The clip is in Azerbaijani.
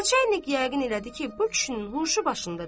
Nəçə enlik yəqin elədi ki, bu kişinin huşu başında deyil.